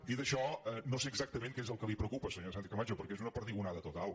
dit això no sé exactament què és el que la preocupa senyora sánchez·camacho perquè és una perdigona·da total